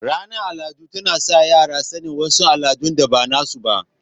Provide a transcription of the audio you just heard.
Ranar aladun tana sa yara sanin wasu aladun da bana su ba